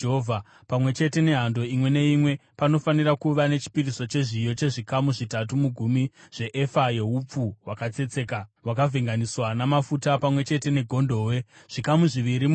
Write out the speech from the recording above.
Pamwe chete nehando imwe neimwe, panofanira kuva nechipiriso chezviyo chezvikamu zvitatu mugumi zveefa yeupfu hwakatsetseka hwakavhenganiswa namafuta; pamwe chete negondobwe, zvikamu zviviri mugumi;